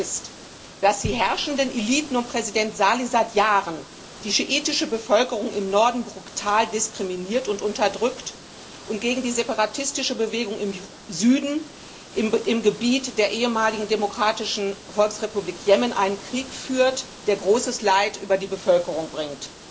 Tatsache ist, dass die herrschenden Eliten um Präsident Salih die schiitische Bevölkerung im Norden seit Jahren brutal diskriminieren und unterdrücken und gegen die separatistische Bewegung im Süden im Gebiet der ehemaligen Demokratischen Volksrepublik Jemen einen Krieg führen, der großes Leid über die Bevölkerung bringt.